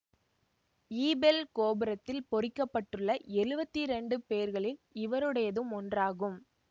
Eiffel கோபுரத்தில் பொறிக்கப்பட்டுள்ள எழுவத்திரேண்டு பெயர்களில் இவருடையதும் ஒன்றாகும்